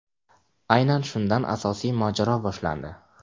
Aynan shundan asosiy mojaro boshlandi.